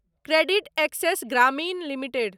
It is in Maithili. credit access Grameen limited